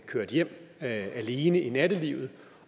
kørt hjem alene i nattelivet